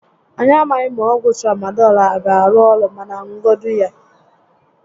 Anyị a maghị ma ọgwụ Tramadọl a a gá arụ orụ, mànà ṅugodu ya